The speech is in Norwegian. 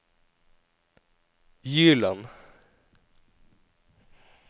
Gyland